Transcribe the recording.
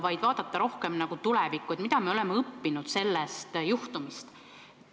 Tahan vaadata rohkem tulevikku ja küsida, mida me oleme sellest juhtumist õppinud.